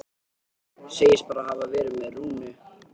Segist bara hafa verið með Rúnu.